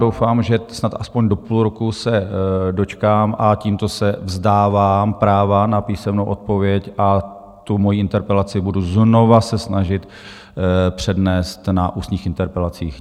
Doufám, že snad aspoň do půl roku se dočkám, a tímto se vzdávám práva na písemnou odpověď a tu svoji interpelaci budu znovu se snažit přednést na ústních interpelacích.